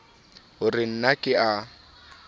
ho re na ke a